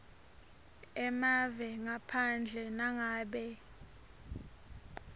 emave ngaphandle nangabe